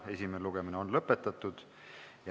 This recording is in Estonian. Esimene lugemine on lõpetatud.